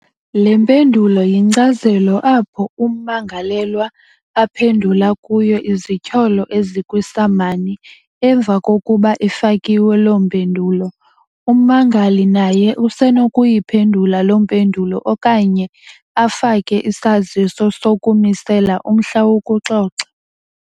Le mpendulo yinkcazelo apho ummangalelwa aphendula kuyo izityholo ezikwiisamani. Emva kokuba ifakiwe lo mpendulo, ummangali naye usenokuyiphendula lo mpendulo okanye afake isaziso sokumisela umhla wokuxoxa.